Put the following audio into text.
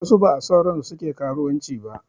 Wasu ba a son ransu suke karuwanci ba